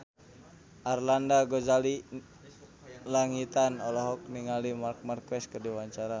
Arlanda Ghazali Langitan olohok ningali Marc Marquez keur diwawancara